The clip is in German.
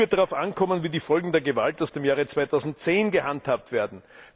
Viel wird darauf ankommen, wie die Folgen der Gewalt aus dem Jahre 2010 gehandhabt werden.